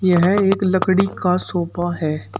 यह एक लकड़ी का सोफा है।